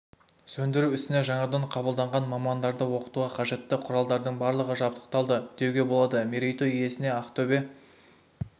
сөндіру ісіне жаңадан қабылданған мамандарды оқытуға қажетті құралдардың барлығы жабдықталды деуге болады мерейтой иесін ақтөбе